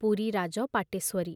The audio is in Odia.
ପୁରୀ ରାଜ ପାଟେଶ୍ୱରୀ